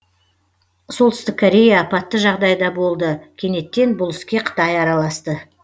солтүстік корея апатты жағдайда болды кенеттен бұл іске қытай араласты